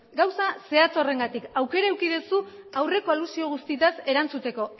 gauza zehatz horrengatik aukera eduki duzu aurreko alusio guztitaz erantzuteko